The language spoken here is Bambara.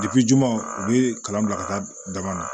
juguman u be kalan bila ka taa dama na